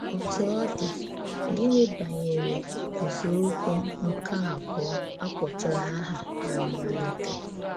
Òtú ọ dị, gịnị bànyèrè nzọ̀ụ̀kwụ̀ nke àbụ̀ọ̀ à kpọtụ̀rụ̀ áhà ná mmàlítè?